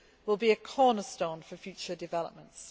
will be a cornerstone for future developments.